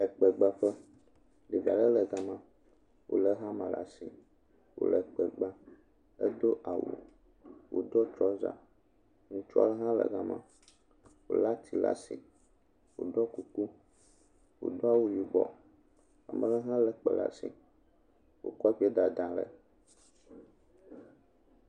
Ekpegbaƒe, ɖevi aɖe le gama, wòlé hama le asi, wòle kpe gbam, edo awu wòdo trɔza, ŋutsu aɖe hã le gama, wòlé ati le asi, wòɖɔ kuku, wòdo awu yibɔ, amele ha lé kpe le asi, wòkɔ kpeɛ lw dada le.